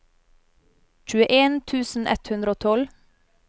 tjueen tusen ett hundre og tolv